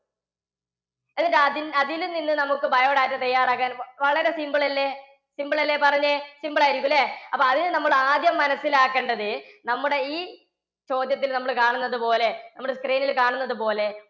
എന്നിട്ട് അതി~ അതിൽ നിന്ന് നമുക്ക് biodata തയ്യാറാക്കാൻ വളരെ simple അല്ലേ? simple അല്ലേ? പറഞ്ഞേ. simple ആയിരിക്കും അല്ലേ? അപ്പോൾ അതിനു നമ്മൾ ആദ്യം മനസ്സിലാക്കേണ്ടത് നമ്മുടെ ഈ ചോദ്യത്തിൽ നമ്മൾ കാണുന്നതുപോലെ നമ്മുടെ screen ൽ കാണുന്നതുപോലെ